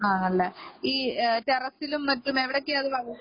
ആണല്ലേ ഈ ടെറസിലും മറ്റും എവിടൊക്കെയാ അത് വളര്‍ത്തുന്നത്